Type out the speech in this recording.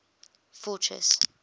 fortress